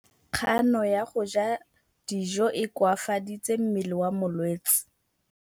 Kganô ya go ja dijo e koafaditse mmele wa molwetse.